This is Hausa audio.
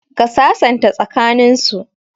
Ka sasanta tsaka nin su